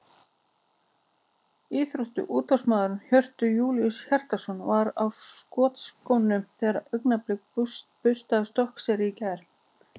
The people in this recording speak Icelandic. Íþrótta- og útvarpsmaðurinn Hjörtur Júlíus Hjartarson var á skotskónum þegar Augnablik burstaði Stokkseyri í gær.